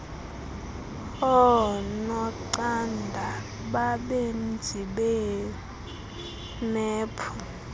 oonocanda nabenzi beemephu